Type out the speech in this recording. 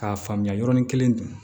K'a faamuya yɔrɔnin kelen dun